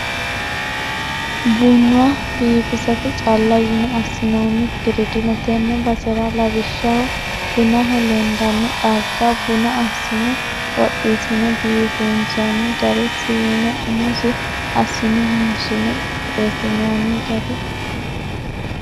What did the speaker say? Buna biifisate calla yine assinonikkiri dino tene basera lawishshaho bunaho lendani xagga, buna assine xoxisine biifinsonni gari siine umosi assine hayishshine qixeesinonni gari.